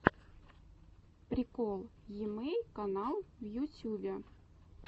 прикол емэйл клан в ютюбе